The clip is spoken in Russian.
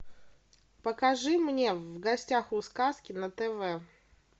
покажи мне в гостях у сказки на тв